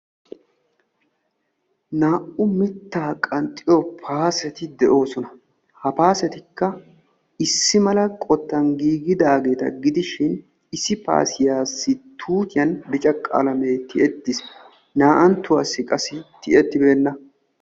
Naa'u mita qanxxiyo paassetti de'osonna. Ha paassetti issi mala qottan merettidosonna. Ettappe issoy adl'ee ciishshan tiyettiis qassi issoy tiyettibeenna.